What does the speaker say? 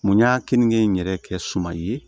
Mun y'a kenige in yɛrɛ kɛ suma ye